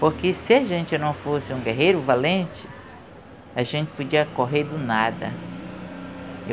Porque se a gente não fosse um guerreiro valente, a gente podia correr do nada.